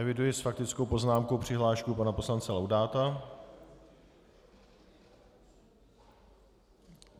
Eviduji s faktickou poznámkou přihlášku pana poslance Laudáta.